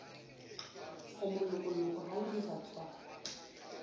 o molokoloko ha ho diratswana